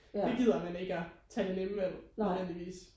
Det gider man ikke og tage det nemme valg nødvendigvis